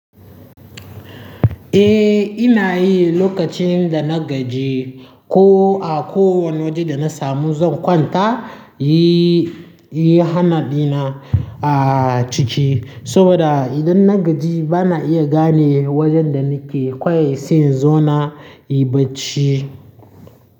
Eh, ina yi lokacin da na gaji ko a kowane waje da na samu zan kwanta, yi, yi hanadina a ciki. Saboda idan na gaji bana iya gane wajen da nake, kawai sai in zo na in yi bacci.